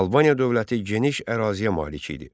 Albaniya dövləti geniş əraziyə malik idi.